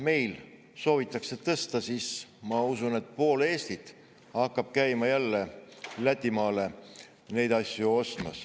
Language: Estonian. Kui seda soovitakse meil tõsta, siis ma usun, et pool Eestit hakkab jälle käima neid asju Lätimaal ostmas.